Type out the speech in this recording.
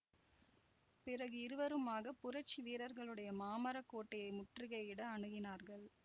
பிறகு இருவருமாக புரட்சி வீரர்களுடைய மாமர கோட்டையை முற்றுகையிட அணுகினார்கள்